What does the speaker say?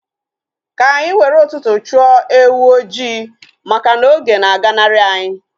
Ka anyị were ụtụtụ chụọ ewu ojii maka na oge na aganari anyi